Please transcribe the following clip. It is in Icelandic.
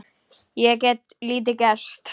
Ég get lítið gert.